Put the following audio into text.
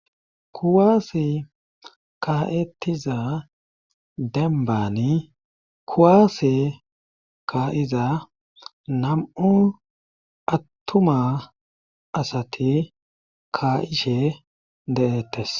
kuwaasi ka7ettiza denbani kuwaasi ka7iza nam7u attuma asati ka7ishe dehettes